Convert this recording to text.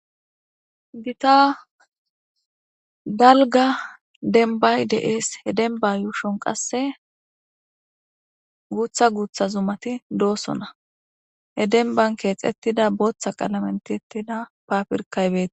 gita dalga denbay de7ees he denba yooshon qasse guutha guutha zumati doossona he denbankeex ettida booththa qalament ettida papirkaybei